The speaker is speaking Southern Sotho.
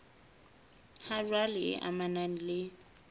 ha jwale e amanang le